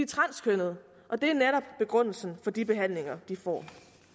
transkønnede og det er netop begrundelsen for de behandlinger de får